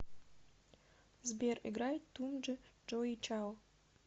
сбер играй туми джоди чао